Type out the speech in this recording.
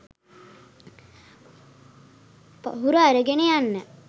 පහුර අරගෙන යන්න